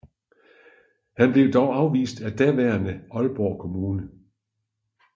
Han blev dog afvist af daværende Aalborg Kommune